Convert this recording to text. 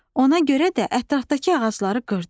Ona görə də ətrafdakı ağacları qırdı.